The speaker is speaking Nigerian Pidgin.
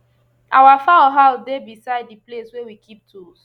our fowl house dey beside the place wey we keep tools